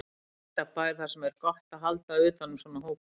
Ekta bær þar sem er gott að halda utan um svona hópa.